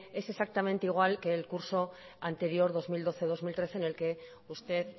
es exactamente igual que el curso anterior dos mil doce dos mil trece en el que usted